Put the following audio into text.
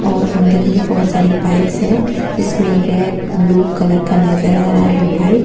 और अंदर में बहुत सारे बाइक हैं जिसमें रेड ब्लू कलर का नजर आ रहा है बाइक --